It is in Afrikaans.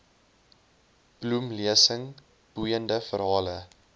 bloemlesing boeiende verhale